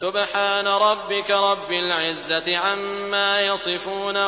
سُبْحَانَ رَبِّكَ رَبِّ الْعِزَّةِ عَمَّا يَصِفُونَ